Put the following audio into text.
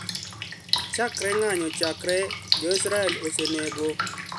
Chakre ng`anyo chakre Jo Israel osenego